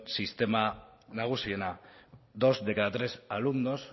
sistema nagusiena dos de cada tres alumnos